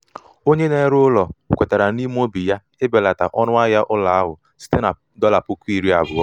onye na-ere ụlọ kwetara n’ime obi ya ibelata ọnụahịa ụlọ ahụ site na dolla puku iri abuo